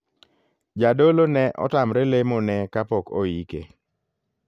Jadolo ne otamre lemo ne kapok oike.